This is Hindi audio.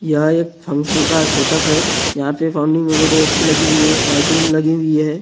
यहाँ एक फंक्शन का सेटअप है यहाँ पे फाउंटेन वगैरह अच्छे लगे हुए हैं लाइटिंग लगी हुई है और--